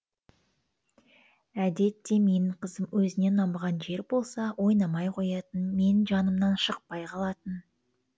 әдетте менің қызым өзіне ұнамаған жер болса ойнамай қоятын менің жанымнан шықпай қалатын